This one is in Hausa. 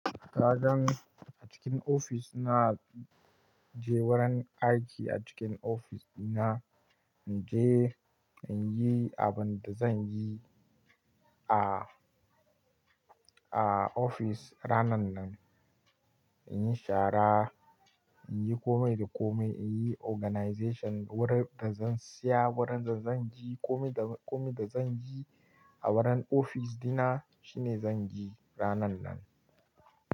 Kagan a cikin ofis di na, inje wurin aiki a cikin ofis dina, na je na yi abin da zan yi a, a ofis ranan nan. In yi shara, in yi kome da kome, in yi organization wurin da zan siya, wurin da zan je, kome da, kome da zan yi a wurin ofis dina shine zan yi ranan nan.